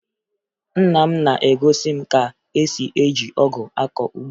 Nna m na-egosi m ka esi eji ọgụ akọ ugbo